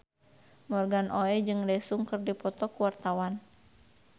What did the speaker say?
Morgan Oey jeung Daesung keur dipoto ku wartawan